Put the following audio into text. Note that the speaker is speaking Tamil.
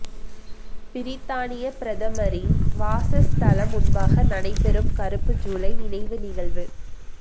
பிரித்தானிய பிரதமரின் வாசஸ்தலம் முன்பாக நடைபெறும் கறுப்பு ஜூலை நினைவு நிகழ்வு